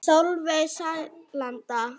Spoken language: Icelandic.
Sólveig Sæland.